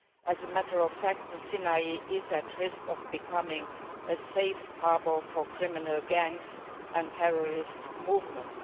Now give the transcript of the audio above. As a matter of fact, the Sinai is at risk of becoming a safe haven for criminal gangs and terrorist movements